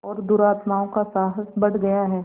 और दुरात्माओं का साहस बढ़ गया है